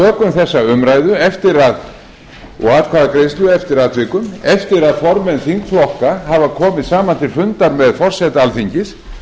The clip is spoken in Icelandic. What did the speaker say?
við tökum þessum umræðu og atkvæðagreiðslu eftir atvikum eftir að formenn þingflokka hafa komið saman til funda með forseta alþingis